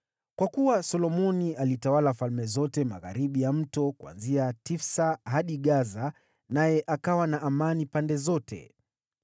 Kwa kuwa Solomoni alitawala falme zote magharibi ya mto, kuanzia Tifsa hadi Gaza, naye akawa na amani pande zote.